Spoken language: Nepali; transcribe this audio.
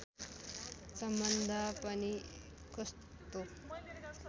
सम्बन्ध पनि कस्तो